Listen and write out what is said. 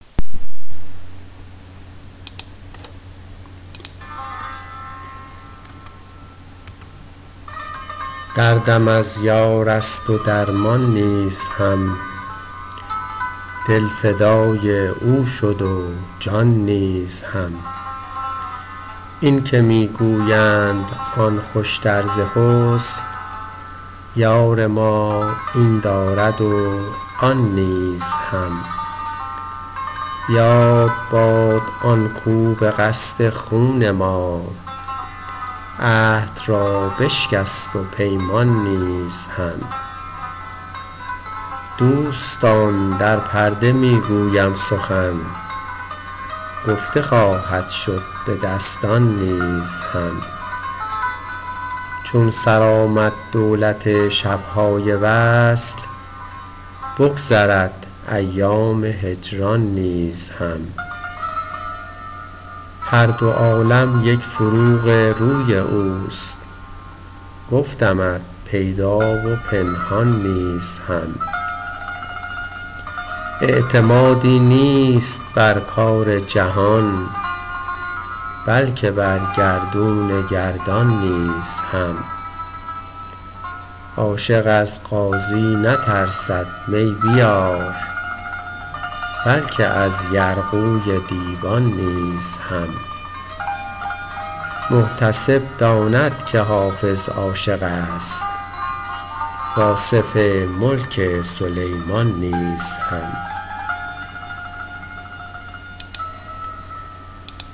دردم از یار است و درمان نیز هم دل فدای او شد و جان نیز هم این که می گویند آن خوشتر ز حسن یار ما این دارد و آن نیز هم یاد باد آن کاو به قصد خون ما عهد را بشکست و پیمان نیز هم دوستان در پرده می گویم سخن گفته خواهد شد به دستان نیز هم چون سر آمد دولت شب های وصل بگذرد ایام هجران نیز هم هر دو عالم یک فروغ روی اوست گفتمت پیدا و پنهان نیز هم اعتمادی نیست بر کار جهان بلکه بر گردون گردان نیز هم عاشق از قاضی نترسد می بیار بلکه از یرغوی دیوان نیز هم محتسب داند که حافظ عاشق است و آصف ملک سلیمان نیز هم